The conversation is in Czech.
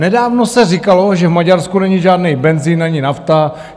Nedávno se říkalo, že v Maďarsku není žádný benzin ani nafta.